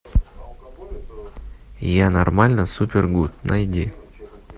я нормально супер гуд найди